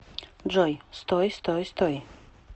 джой стой стой стой